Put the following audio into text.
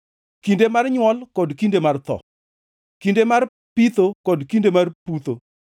kinde mar nywol kod kinde mar tho, kinde mar pitho kod kinde mar putho,